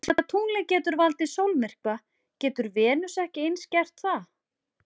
Úr því að tunglið getur valdið sólmyrkva getur Venus ekki eins gert það?